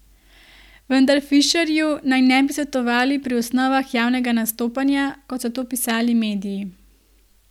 Vendar Fišerju naj ne bi svetovali pri osnovah javnega nastopanja, kot so to pisali mediji.